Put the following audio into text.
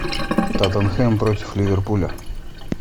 тоттенхэм против ливерпуля